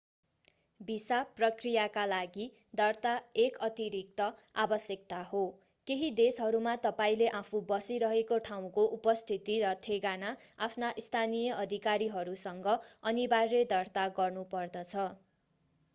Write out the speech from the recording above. visa प्रक्रियाका लागि दर्ता एक अतिरिक्त आवश्यकता हो केहि देशहरूमा तपाईंले आफू बसिरहेको ठाउँको उपस्थिति र ठेगाना आफ्ना स्थानीय अधिकारीहरूसँग अनिवार्य दर्ता गर्नुपर्दछ